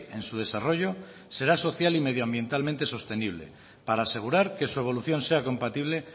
en su desarrollo será social y medioambientalmente sostenible para asegurar que su evolución sea compatible